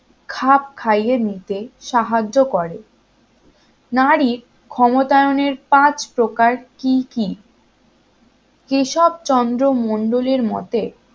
খাপ খাইয়ে নিতে সাহায্য করে নারীর ক্ষমতায়নের পাঁচ প্রকার কি কি কেশব চন্দ্র মন্ডল এর মতে